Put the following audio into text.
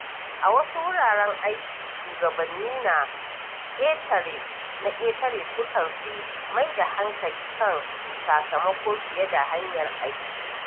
A wasu wuraren aiki, shugabanni na ƙetare sukan fi mai da hankali kan sakamako fiye da hanyar aiki.